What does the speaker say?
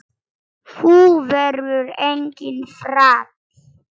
Þú verður enginn þræll.